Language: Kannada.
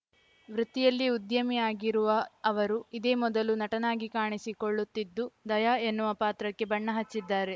ವೃತ್ತಿಯಲ್ಲಿ ಉದ್ಯಮಿ ಆಗಿರುವ ಅವರು ಇದೇ ಮೊದಲು ನಟನಾಗಿ ಕಾಣಿಸಿಕೊಳ್ಳುತ್ತಿದ್ದು ದಯಾ ಎನ್ನುವ ಪಾತ್ರಕ್ಕೆ ಬಣ್ಣ ಹಚ್ಚಿದ್ದಾರೆ